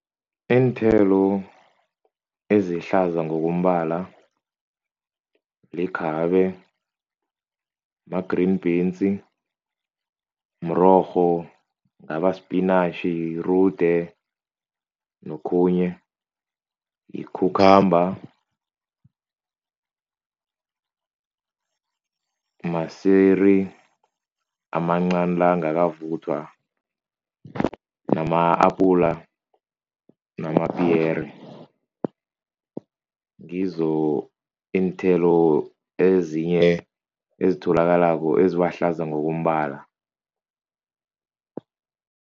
Iinthelo ezihlaza ngokombala likhabe, ma-green beans, mrorho, ngaba-spinach, irude nokhunye, yi-cucumber, maswiri amancani la angakavuthwa, nama-apula, namapiyere, ngizo iinthelo ezinye ezitholakalako ezibahlaza ngokombala.